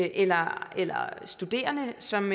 eller eller studerende som